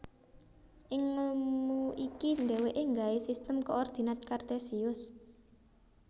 Ing ngelmu iki dheweke nggawe Sistem Koordinat Kartesius